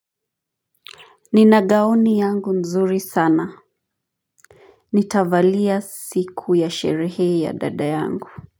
Nina gaoni yangu nzuri sana. Nitavalia siku ya sherehe ya dada yangu.